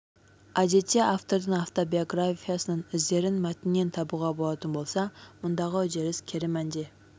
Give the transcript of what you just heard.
әдетте автордың автобиографиясының іздерін мәтіннен табуға болатын болса мұндағы үдеріс кері мәнде